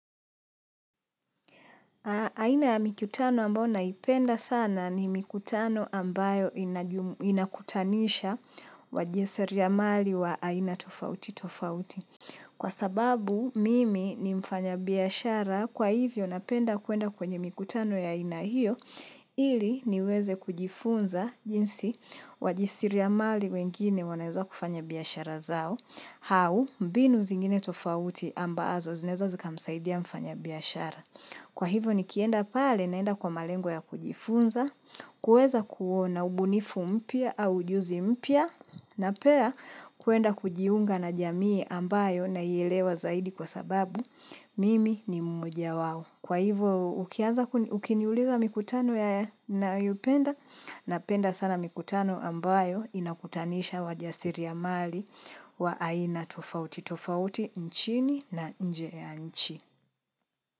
Aina ya mikutano ambayo naipenda sana ni mikutano ambayo inakutanisha wajisiri amali wa aina tofauti tofauti. Kwa sababu mimi ni mfanya biashara kwa hivyo napenda kuenda kwenye mikutano ya aina hiyo ili niweze kujifunza jinsi wajisiriamali wengine wanaweza kufanya biashara zao au mbinu zingine tofauti ambazo zineza zika msaidia mfanya biashara. Kwa hivyo ni kienda pale naenda kwa malengo ya kujifunza, kuweza kuona ubunifu mpya au ujuzi mpya na pia kwenda kujiunga na jamii ambayo nayelewa zaidi kwa sababu mimi ni mmoja wao. Kwa hivyo ukiniuliza mikutano ya nayopenda napenda sana mikutano ambayo inakutanisha wajasiriamali wa aina tofauti, tofauti nchini na nje ya nchi.